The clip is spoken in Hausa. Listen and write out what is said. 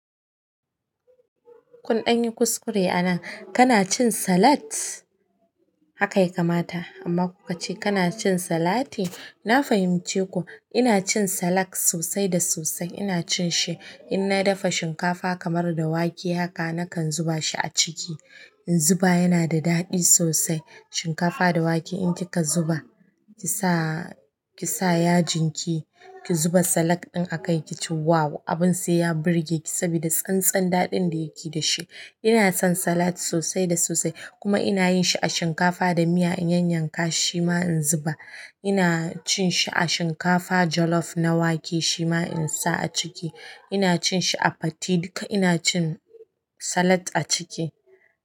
Kun ɗan yi kuskure anan, kana cin salat? Haka ya kamata amma ku ka ce kana cin salati. Na fahimci ku. Ina cin salak sosai da sosai. Ina cin shi in na dafa shinkafa kamar da wake. Yaka nakan zuba shi a ciki in zuba yana da daɗi sosai. Shinkafa da wake in ki ka zuba, ki sa ki sa yajin ki, ki zuba salak ɗin a kai ki ci. Wow! Abin sai ya burge ki saboda tsan tsan daɗin da yake da shi. Ina son salat sosai da sosai, kuma ina yinshi a shinkafa da miya in yanyanka shi shima in zuba ina cin shi a shinkafa jollof na wake shi ma in sa a ciki. Ina cin shi a fate duka ina cin salat a ciki.